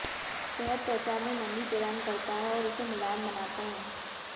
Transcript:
शहद त्वचा में नमी प्रदान करता है और उसे मुलायम बनाता है